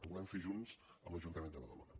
ho volem fer junts amb l’ajuntament de badalona